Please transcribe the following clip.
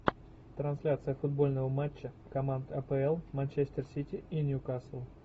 трансляция футбольного матча команд апл манчестер сити и ньюкасл